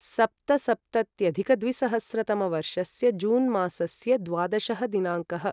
सप्तसप्तत्यधिकद्विसहस्रतमवर्षस्य June मासस्य द्वादशः दिनाङ्कः